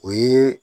O ye